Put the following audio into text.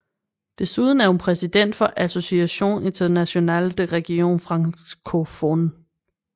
Desuden er hun præsident for Association Internationale des Régions Francophones